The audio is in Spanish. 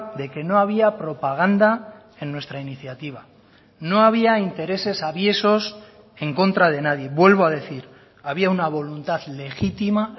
de que no había propaganda en nuestra iniciativa no había intereses aviesos en contra de nadie vuelvo a decir había una voluntad legítima